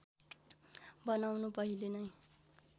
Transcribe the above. बनाउनु पहिले नै